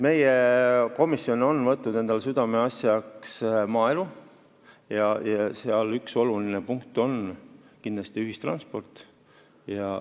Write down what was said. Meie komisjon on võtnud endale südameasjaks maaelu ja üks oluline punkt on kindlasti ühistransport.